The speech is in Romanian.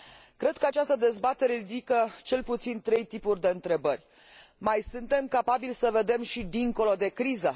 Cred că această dezbatere ridică cel puțin trei tipuri de întrebări mai suntem capabili să vedem și dincolo de criză?